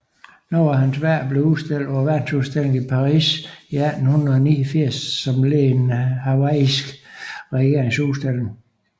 Nogle af hans værker blev udstillet på verdensudstillingen i Paris 1889 som led i den hawaiianske regerings udstilling